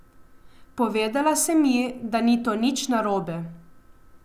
Povedala sem ji, da ni to nič narobe.